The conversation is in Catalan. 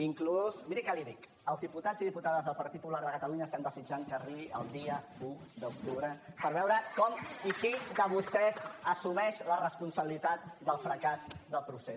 inclús miri què li dic els diputats i diputades del partit popular de catalunya estem desitjant que arribi el dia un d’octubre per veure com i qui de vostès assumeix la responsabilitat del fracàs del procés